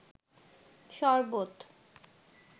শরবত